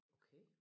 Okay